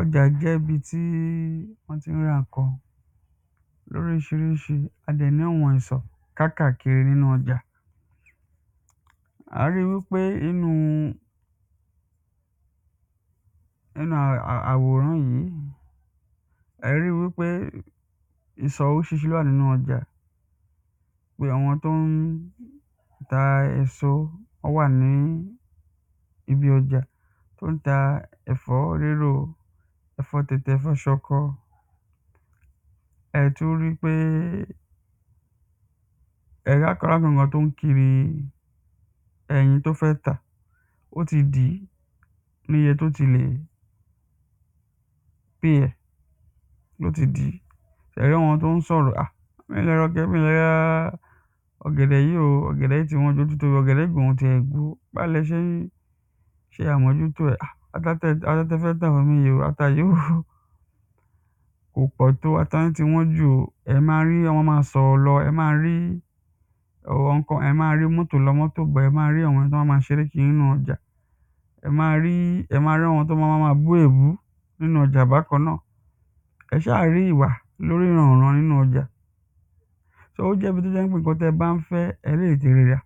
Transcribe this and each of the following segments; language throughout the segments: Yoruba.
Ọjà jẹ́ ibi tí wọ́n ti ń ra nǹkan ní oríṣiríṣi a dẹ̀ ni àwọn ìsọ̀ kákàkiri nínú ọjà A ri wípé inú àwòrán yìí ẹ̀ ẹ́ ri wípé ìsọ̀ oríṣiríṣi ni ó wà nínú ọjà Bí àwọn tí ó ń ta èso ó wà ní ibi ọjà tí ó ń ta ẹ̀fọ́ rírò ẹ̀fọ́ tẹ̀tẹ̀ ẹ̀fọ́ ṣọkọ Ẹ tún ri pé kiri ẹyin tí ó fẹ́ tà Ó ti dì í ní iye tí ó ti lè pay ẹ̀ ló ti dì í Ṣé ri àwọn tí ó ń sọ̀rọ̀ Mi ò lè ra mi ò lè ra ọ̀gẹ̀dẹ̀ yìí o ọ̀gẹ̀dẹ̀ yìí ti wọ́n jù ó ti báwo ni ẹ ṣe ń ṣe àmójútó ẹ̀ Ata tí ẹ fẹ́ tà fún mi yí o ata yi o kò pọ̀ tó ata yín ti wọ́n jù o Ẹ̀ ẹ́ ma ri wọn ma máa sọ̀rọ̀ lọ Ẹ̀ ẹ́ ma rí àwọn kan ẹ ma rí oní mọ́tò lọ mọ́tò bọ̀ ẹ ma rí àwọn eni tí wọ́n má ṣeré kiri nínú ọjà Ẹ ma rí ẹ máa rí àwọn tí wọ́n ma máa bú èébú nínú ọjà bákan náà Ẹ ẹ́ ṣáà rí ìwà nínú ọjà So ó jẹ́ ibi tí ó jẹ ń pé nǹkan ti ẹ bá ń fẹ́ ẹ̀ ẹ́ lè ti ri rà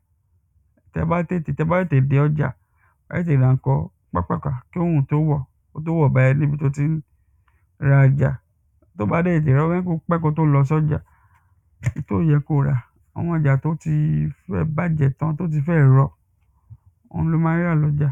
Tí ẹ bá tètè tí ẹ bá tètè dé ọjà ẹ̀ ẹ́ tètè ra nǹkan pápàpá kí òrùn tó wọ̀ kí ó tó wọ̀ bá ẹ níbi tí o ti ń ra ọjà Tí ò bá tètè ra pẹ́ kí o tó lọ sí ọjà tí ó yẹ kí o rà àwọn ọjà tí ó ti fẹ́ bàjẹ́ tán tí ó ti fẹ́ẹ̀ rọ̀ òun ni o ma rí rà lọ́jà